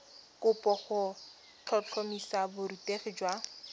kopo go tlhotlhomisa borutegi jwa